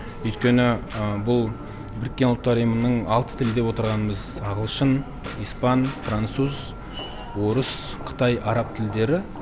өйткені бұл біріккен ұлттар ұйымының алты тілі деп отырғанымыз ағылшын испан француз орыс қытай араб тілдері